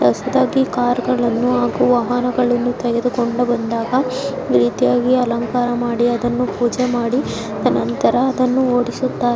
ಹೊಸದಾಗ್ ಕಾರ್ಗಳು ಹಾಗು ವಾಹನಗಳನ್ನು ತೆಗೆದುಕೊಂಡು ಬಂದಾಗ ಈ ರೀತಿಯಾಗಿ ಅಲಂಕಾರ ಮಾಡಿ ಪೂಜೆ ಮಾಡಿ ಅನಂತರ ಅದನ್ನು ಓಡಿಸುತ್ತಾರೆ.